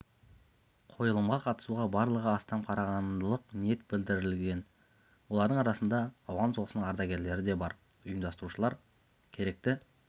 қойылымға қатысуға барлығы астам қарағандылық ниет білдірген олардың арасында ауған соғысының ардагерлері де бар ұйымдастырушылар керекті